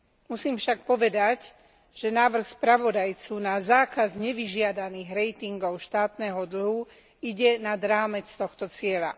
Musím však povedať, že návrh spravodajcu na zákaz nevyžiadaných ratingov štátneho dlhu ide nad rámec tohto cieľa.